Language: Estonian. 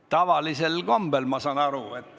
Tavalisel kombel, ma saan aru.